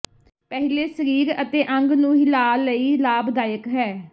ਪਹਿਲੇ ਸਰੀਰ ਅਤੇ ਅੰਗ ਨੂੰ ਹਿਲਾ ਲਈ ਲਾਭਦਾਇਕ ਹੈ